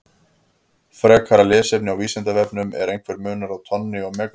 Frekara lesefni á Vísindavefnum: Er einhver munur á tonni og megatonni?